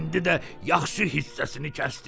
İndi də yaxşı hissəsini kəsdirsiz.